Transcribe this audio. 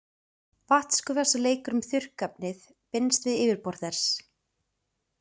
Vatnsgufa sem leikur um þurrkefnið binst við yfirborð þess.